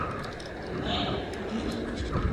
наньтун